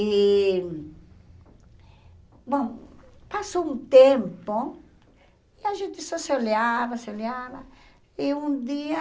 E... Bom, passou um tempo, e a gente só se olhava, se olhava, e um dia,